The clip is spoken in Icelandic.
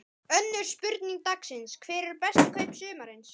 Önnur spurning dagsins: Hver eru bestu kaup sumarsins?